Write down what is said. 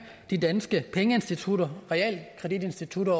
de danske pengeinstitutter realkreditinstitutter